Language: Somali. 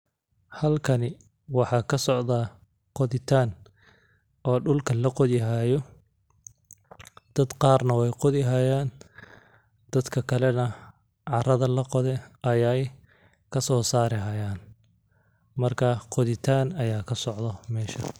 Halkani waxaa ka socda qoditaan oo dhulka la qodihayu. Dad qaarna way qodihayaan dadka kale na carrada laqoday ayay kasoo saarihayaan. Markaa qoditaan ayaa ka socdo meesha.